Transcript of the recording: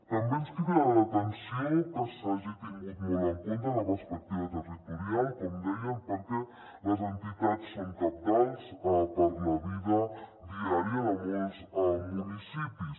també ens crida l’atenció que s’hagi tingut molt en compte la perspectiva territorial com deia perquè les entitats són cabdals per a la vida diària de molts municipis